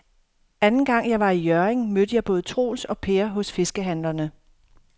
Anden gang jeg var i Hjørring, mødte jeg både Troels og Per hos fiskehandlerne.